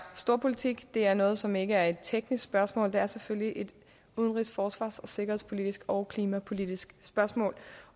storpolitik det er noget som ikke er et teknisk spørgsmål for det er selvfølgelig et udenrigs forsvars sikkerhedspolitisk og klimapolitisk spørgsmål